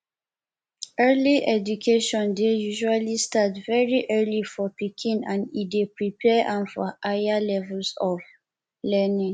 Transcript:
early education dey usually start very early for pikin and e dey prepare am for higher levels pf learning